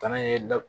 Bana ye da